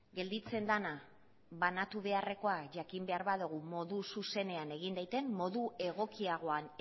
gelditzen dena banatu beharrekoa jakin behar badugu modu zuzenean egin daitekeen modu egokiagoan